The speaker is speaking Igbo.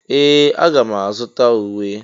Ee! Aga m azụta uwe.